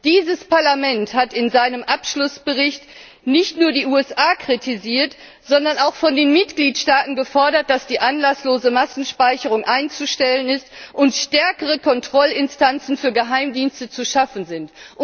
Dieses Parlament hat in seinem Abschlussbericht nicht nur die USA kritisiert, sondern auch von den Mitgliedstaaten gefordert, dass die anlasslose Massenspeicherung einzustellen ist und stärkere Kontrollinstanzen für Geheimdienste zu schaffen sind.